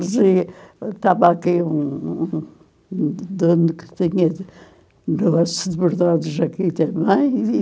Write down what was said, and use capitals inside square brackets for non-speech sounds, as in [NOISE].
[UNINTELLIGIBLE] Estava aqui um um um dono que tinha negócios de bordados aqui também.